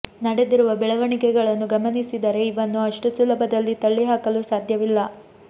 ನಡೆದಿರುವ ಬೆಳವಣಿಗೆಗಳನ್ನು ಗಮನಿಸಿದರೆ ಇವನ್ನು ಅಷ್ಟು ಸುಲಭದಲ್ಲಿ ತಳ್ಳಿ ಹಾಕಲು ಸಾಧ್ಯವಿಲ್ಲ